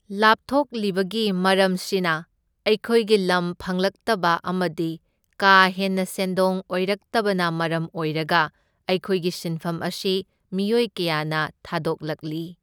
ꯂꯥꯞꯊꯣꯛꯂꯤꯕꯒꯤ ꯃꯔꯝꯁꯤꯅ ꯑꯩꯈꯣꯏꯒꯤ ꯂꯝ ꯐꯪꯂꯛꯇꯕ ꯑꯃꯗꯤ ꯀꯥ ꯍꯦꯟꯅ ꯁꯦꯟꯗꯣꯡ ꯑꯣꯏꯔꯛꯇꯕꯅ ꯃꯔꯝ ꯑꯣꯏꯔꯒ ꯑꯩꯈꯣꯏꯒꯤ ꯁꯤꯟꯐꯝ ꯑꯁꯤ ꯃꯤꯑꯣꯏ ꯀꯌꯥꯅ ꯊꯥꯗꯣꯛꯂꯛꯂꯤ꯫